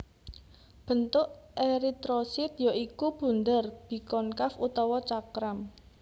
Bentuk eritrosit ya iku bunder bikonkaf utawa cakram